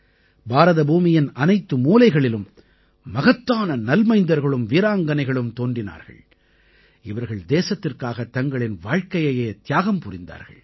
பாரதபூமியின் அனைத்து மூலைகளிலும் மகத்தான நல்மைந்தர்களும் வீராங்கனைகளும் தோன்றினார்கள் இவர்கள் தேசத்திற்காகத் தங்களின் வாழ்க்கையையே தியாகம் புரிந்தார்கள்